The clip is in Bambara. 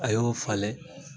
A y'o falen